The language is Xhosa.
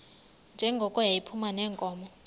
njengoko yayiphuma neenkomo